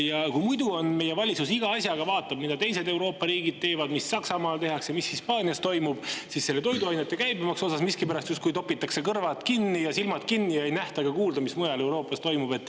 Ja kui muidu meie valitsus iga asja puhul vaatab, mida teised Euroopa riigid teevad – mis Saksamaal tehakse, mis Hispaanias toimub –, siis toiduainete käibemaksu puhul miskipärast justkui topitakse kõrvad kinni ja silmad kinni ja ei nähta aga kuulda, mis mujal Euroopas toimub.